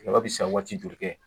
Tigaba bɛ se ka waati joli kɛ